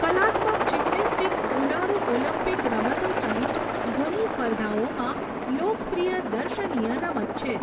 કલાત્મક જિમ્નેસ્ટિક્સ ઉનાળુ ઓલિમ્પિક રમતો સહિત ઘણી સ્પર્ધાઓમાં લોકપ્રિય દર્શનીય રમત છે.